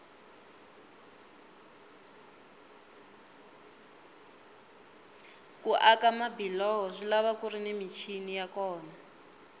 ku aka mabiloho swilava kuri ni michini ya kona